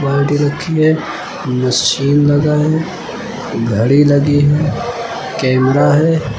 बाल्टी रखी है मशीन लगा है घड़ी लगी है कैमरा है।